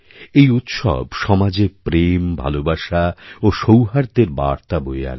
এই উৎসব সমাজেপ্রেমভালোবাসা ও সৌহার্দ্যের বার্তা বয়ে আনে